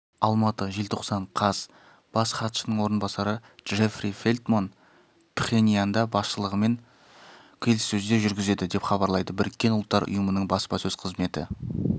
алматы желтоқсан қаз бас хатшының орынбасары джеффри фелтман пхеньянда басшылығымен келіссөздер жүргізеді деп хабарлайды біріккен ұлттар ұйымының баспасөз қызметі